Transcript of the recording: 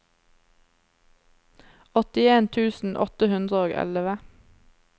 åttien tusen åtte hundre og elleve